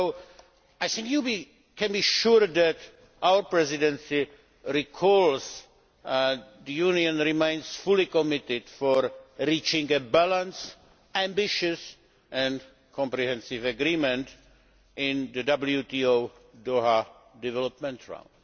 So you can be sure that our presidency is keen that the Union remains fully committed to reaching a balanced, ambitious and comprehensive agreement in the WTO Doha Development Round.